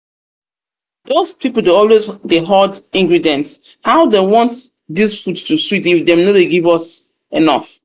doz people dey always dey horde ingredients how dem want dis food to sweet if dem no give us enough